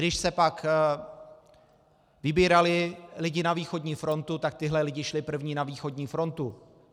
Když se pak vybírali lidé na východní frontu, tak tito lidé šli první na východní frontu.